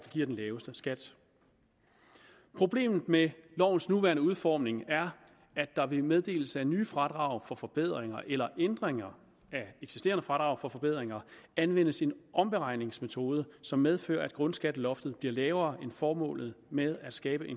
giver den laveste skat problemet med lovens nuværende udformning er at der ved meddelelse af nye fradrag for forbedringer eller ændringer af eksisterende fradrag for forbedringer anvendes en omberegningsmetode som medfører at grundskatteloftet bliver lavere end formålet med at skabe